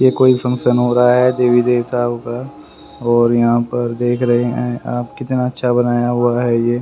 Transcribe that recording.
ये कोई फंक्शन हो रहा है देवी देवताओं का और यहां पर देख रहे है आप कितना अच्छा बनाया हुआ है ये।